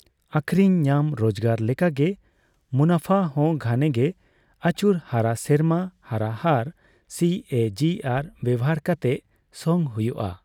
ᱟᱹᱠᱷᱨᱤᱧ ᱧᱟᱢ ᱨᱚᱡᱜᱟᱨ ᱞᱮᱠᱟᱜᱮ, ᱢᱩᱱᱟᱯᱷᱟᱦᱚᱸ ᱜᱷᱟᱹᱱᱮᱜᱮ ᱟᱹᱪᱩᱨ ᱦᱟᱨᱟ ᱥᱮᱨᱢᱟ ᱦᱟᱨᱟ ᱦᱟᱨ (ᱥᱤ ᱮ ᱡᱤ ᱟᱨ) ᱵᱮᱣᱦᱟᱨ ᱠᱟᱛᱮᱜ ᱥᱚᱝ ᱦᱩᱭᱩᱜᱼᱟ ᱾